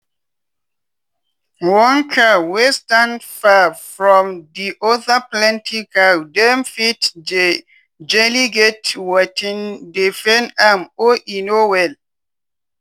one cow wey stand far from di other plenty cow dem fit jejely get watin dey pain am or e no well.